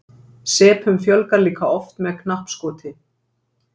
Sepunum fjölgar líka oft með knappskoti.